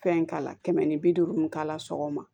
Fɛn k'a la kɛmɛ ni bi duuru mu k'ala sɔgɔma